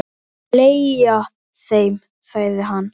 Hann brosir út að eyrum.